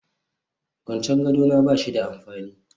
Kwancen gado na ba shi da amfani